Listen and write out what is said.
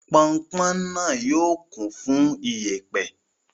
Pọnpọn náà yóò kún fún ìyẹ̀pẹ̀.